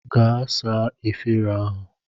Gaa saa efere ahụ!